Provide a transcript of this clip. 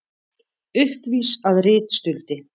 Uppvís að ritstuldi